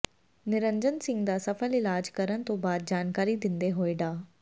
ਨਿਰੰਜਨ ਸਿੰਘ ਦਾ ਸਫ਼ਲ ਇਲਾਜ ਕਰਨ ਤੋਂ ਬਾਅਦ ਜਾਣਕਾਰੀ ਦਿੰਦੇ ਹੋਏ ਡਾ